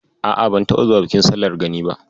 A'a, ban taɓa zuwa bikin sallar Gani ba.